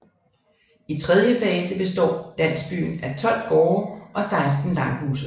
I tredje fase består landsbyen af 12 gårde og 16 langhuse